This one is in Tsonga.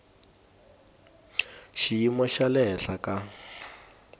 xiyimo xa le henhla ka